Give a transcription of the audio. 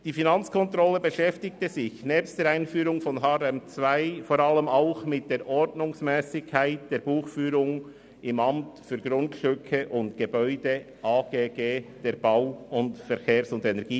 Die Finanzkontrolle beschäftigte sich nebst der Einführung von HRM2 vor allem auch mit der Ordnungsmässigkeit der Buchführung beim Amt für Grundstücke und Gebäude (AGG) der BVE.